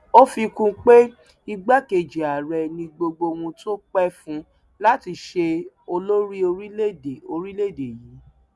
ó fi kún un pé igbákejì ààrẹ ni gbogbo ohun tó pẹ fún láti ṣe olórí orílẹèdè orílẹèdè yìí